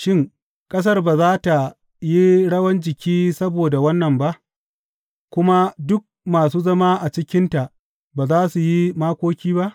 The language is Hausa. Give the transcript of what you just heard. Shin, ƙasar ba za tă yi rawan jiki saboda wannan ba, kuma duk masu zama a cikinta ba za su yi makoki ba?